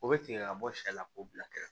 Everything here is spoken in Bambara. O bɛ tigɛ ka bɔ sɛ k'o bila kɛrɛfɛ